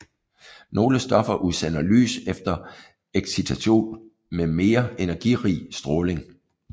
Nogle stoffer udsender lys efter excitation med mere energirig stråling